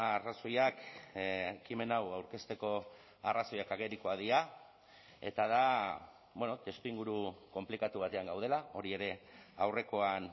arrazoiak ekimen hau aurkezteko arrazoiak agerikoak dira eta da testuinguru konplikatu batean gaudela hori ere aurrekoan